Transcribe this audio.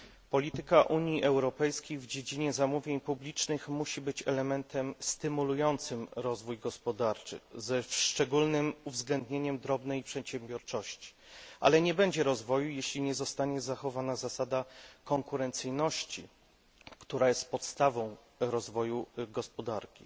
Polityka Unii Europejskiej w dziedzinie zamówień publicznych musi być elementem stymulującym rozwój gospodarczy ze szczególnym uwzględnieniem drobnej przedsiębiorczości, ale nie będzie rozwoju, jeśli nie zostanie zachowana zasada konkurencyjności, która jest podstawą rozwoju gospodarki.